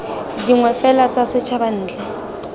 dingwe fela tsa setshaba ntle